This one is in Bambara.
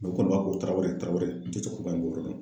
u kɔni b'a wele tarawere tarawere n ti cɛkɔrɔba in bɔyɔrɔ dɔn.